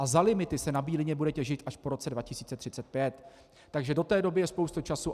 A za limity se na Bílině bude těžit až po roce 2035, takže do té doby je spousta času.